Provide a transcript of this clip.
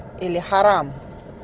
или харам